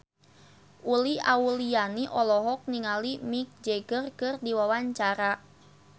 Uli Auliani olohok ningali Mick Jagger keur diwawancara